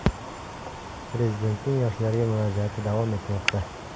Prezidentning yoshlarga murojaati davom etmoqda.